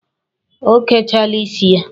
O kechaala ya isi.